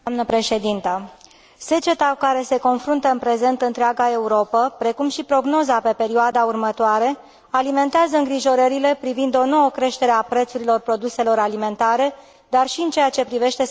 Seceta cu care se confruntă în prezent întreaga Europă, precum și prognoza pe perioada următoare, alimentează îngrijorările privind o nouă creștere a prețurilor produselor alimentare, dar și în ceea ce privește securitatea alimentară.